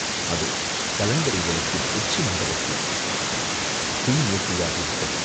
அதோ கலங்கரை விளக்கின் உச்சி மண்டபத்தில் தீ மூட்டியாகி விட்டது.